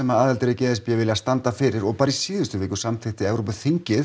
aðildarríki e s b vilja standa fyrir bara í síðustu viku samþykkti Evrópuþingið